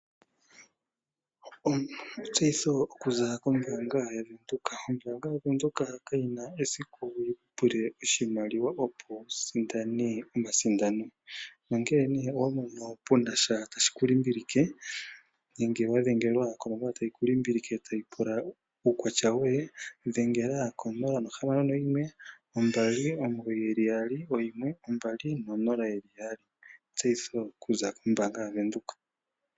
Etseyitho okuza kombaanga yaVenduka Ombaanga yaVenduka kayi na esiku yi ku pule oshimaliwa, opo wu sindane omasindano. Nongele owa mono pu na sha tashi ku limbilike nenge wa dhengelwa konomola tayi ku limbilike tayi pula uukwatya woye, dhengela ko 061 2991200. Etseyitho okuza kombaanga yaVenduka.